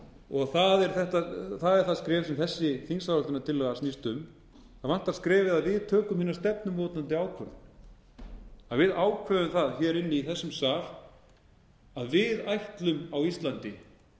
og það er það skref sem þessi þingsályktunartillaga snýst um það vantar skref um að við tökum hina stefnumótandi ákvörðun að við ákveðum það inni í þessum sal að við ætlum á íslandi að búa svo